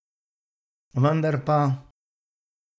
Vendar pa ...